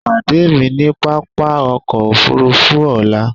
Pàdé mi ni pápá ọkọ̀ òfurufú ọlá!